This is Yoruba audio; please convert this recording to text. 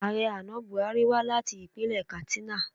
Ààrẹ àná Bùhárí wá láti ìpínlẹ̀ Katstina